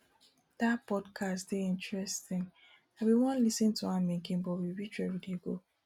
dat podcast dey interesting i bin wan lis ten to am again but we reach where we dey go